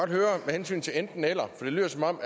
høre med hensyn til enten eller for det lyder som om